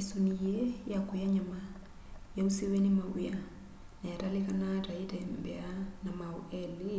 isuni yii ya kuya nyama yausiwe ni maw'ia na yatalikanaa ta yitembeaa na maau eli